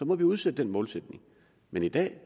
må vi udsætte målet men i dag